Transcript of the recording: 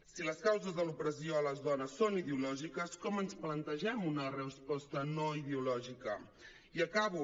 si les causes de l’opressió a les dones són ideològiques com ens plantegem una resposta no ideològica i acabo